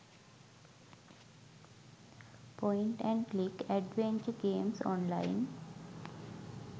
point and click adventure games online